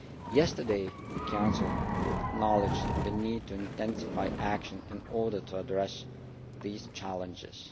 Yesterday the Council acknowledged the need to intensify action in order to address these challenges.